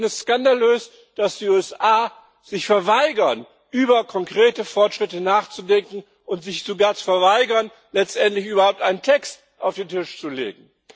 Ich finde es skandalös, dass die USA sich verweigern, über konkrete Fortschritte nachzudenken, und sich sogar verweigern, letztendlich überhaupt einen Text auf den Tisch zu legen.